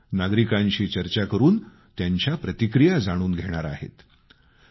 तसंच नागरिकांशी चर्चा करून त्यांच्या प्रतिक्रिया जाणून घेणार आहेत